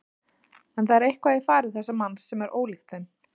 En það er eitthvað í fari þessa manns sem er ólíkt þeim.